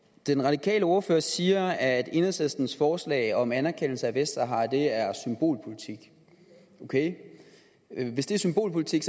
den radikale ordfører siger at enhedslistens forslag om anerkendelse af vestsahara er symbolpolitik hvis det er symbolpolitik